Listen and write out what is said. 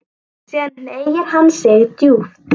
Síðan hneigir hann sig djúpt.